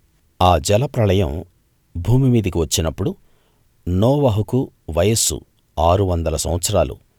ఆ జలప్రళయం భూమిమీదికి వచ్చినప్పుడు నోవహుకు వయస్సు ఆరు వందల సంవత్సరాలు